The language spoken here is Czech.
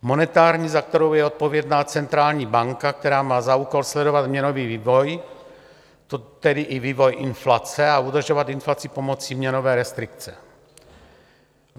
Monetární, za kterou je odpovědná centrální banka, která má za úkol sledovat měnový vývoj, tedy i vývoj inflace, a udržovat inflaci pomocí měnové restrikce.